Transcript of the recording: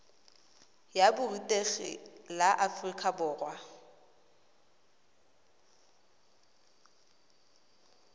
ya borutegi la aforika borwa